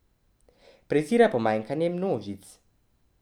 Prezira pomikanje množic.